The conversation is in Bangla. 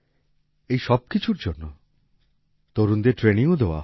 এই সবকিছুর জন্য তরুণদের trainingও দেওয়া হয়